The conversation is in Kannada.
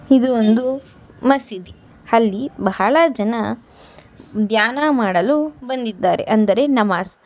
ಇದು ಒಂದು ಮಸೀದಿ ಅಲ್ಲಿ ಬಹಳ ಜನ ಧ್ಯಾನ ಮಾಡಲು ಬಂದಿದ್ದಾರೆ ಅಂದರೆ ನಮಾಜ್.